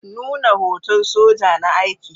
Nuna hoton soja na aiki.